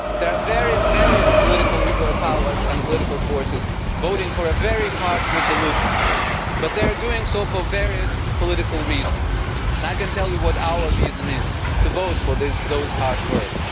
There are various political powers and political forces voting for a very harsh resolution, but they are doing so for various political reasons, and I can tell you what our reason is to vote for those harsh words.